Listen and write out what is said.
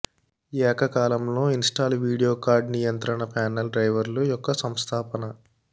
ఏకకాలంలో install video card నియంత్రణ panel డ్రైవర్లు యొక్క సంస్థాపన